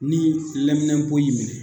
Ni laminɛpo y'i minɛ